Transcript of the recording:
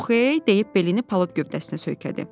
“Oxey,” deyib belini palıd gövdəsinə söykədi.